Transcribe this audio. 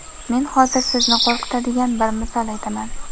Men hozir sizni qo‘rqitadigan bir misol aytaman.